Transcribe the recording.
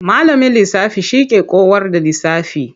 Malamin lisafi shi ke kowar da lisafi.